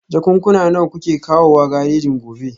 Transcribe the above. Jakunkuna nawa kuke kawowa garejin gobe?